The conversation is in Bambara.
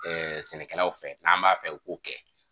Ɛɛ sɛnɛkɛlaw fɛ an b'a fɛ i k'o kɛ.